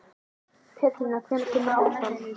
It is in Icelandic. Pétrína, hvenær kemur áttan?